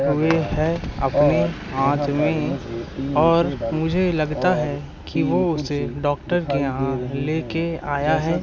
हुए है अपने हाथ में और मुझे लगता है कि वो उसे डॉक्टर के यहां लेके आया है।